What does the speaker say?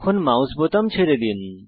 mouse বোতাম ছেড়ে দিন